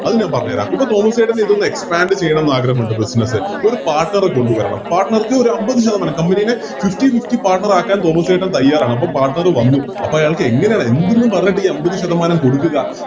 അത് ഞാൻ പറഞ്ഞേരാം ഇപ്പൊ തോമസ്സേട്ടനിതോന്ന് Expand ചെയ്യണമെന്നാഗ്രഹമുണ്ട് Business ഒരു Partner എ കൊണ്ടുവരണം Partner ക്ക് ഒരു അമ്പത് ശതമാനം Company ടെ Fifty fifty partner ആക്കാൻ തോമസ് ചേട്ടൻ തയ്യാറാണ് അപ്പോം Partner വന്നു അപ്പൊ അയാൾക്കെങ്ങനെ എന്ത്ന്ന് പറഞ്ഞിട്ടാ ഈ അമ്പത് ശതമാനം കൊടുക്കുക